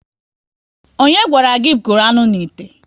Ọnye gwara gị gụrụ anụ n'ite?